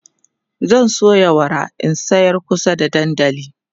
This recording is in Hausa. zan soya wara in sayar kusa da dandali